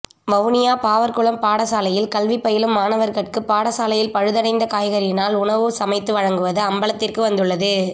வவுனியா பாவற்குளம் பாடசாலையில் கல்வி பயிலும் மாணவர்கட்கு பாடசாலையில் பழுதடைந்த காய்கறிகளினால் உணவு சமைத்து வழங்குவது அம்பலத்திற்கு வந்துள்ளது